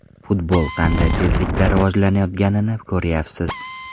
Futbol qanday tezlikda rivojlanayotganini ko‘ryapsiz.